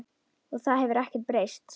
Og það hefur ekkert breyst.